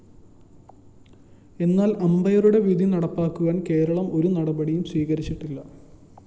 എന്നാല്‍ അമ്പയറുടെ വിധി നടപ്പാക്കുവാന്‍ കേരളം ഒരു നടപടിയും സ്വീകരിച്ചില്ല